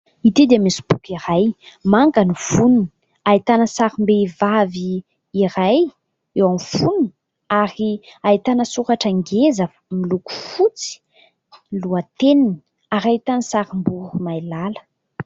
Ity dia misy boky iray, manga ny fonony, ahitana sarim-behivavy iray eo amin'ny fonony ary ahitana soratra ngeza miloko fotsy ny lohateniny ary ahitana sarim-boromailala.